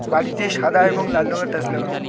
বাড়িটি সাদা এবং লাল রঙের টাইলস লাগানো।